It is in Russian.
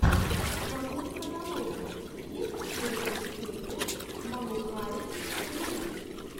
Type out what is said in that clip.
в твоем каталоге есть первая серия манукайн твинс